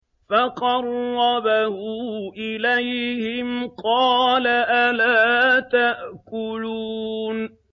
فَقَرَّبَهُ إِلَيْهِمْ قَالَ أَلَا تَأْكُلُونَ